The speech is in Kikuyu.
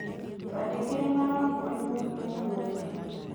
Twandĩkĩre marũa kũrĩ mũrutwo mwerũ.